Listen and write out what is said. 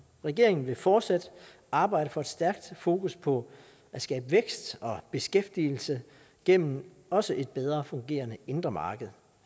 regeringen vil fortsat arbejde for et stærkt fokus på at skabe vækst og beskæftigelse gennem også et bedre fungerende indre marked